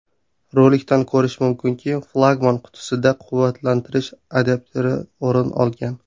Rolikdan ko‘rish mumkinki, flagman qutisida quvvatlantirish adapteri o‘rin olgan.